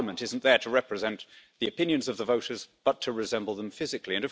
A parliament isn't there to represent the opinions of the voters, but to resemble them physically.